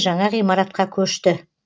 жаңа ғимаратқа көшті